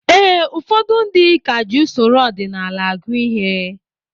Ee, ụfọdụ ndị ka ji usoro ọdịnala agụ ihe